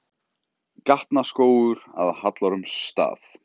Gatnaskógur að Hallormsstað.